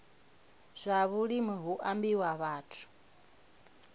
zwa vhulimi hu ambiwa vhathu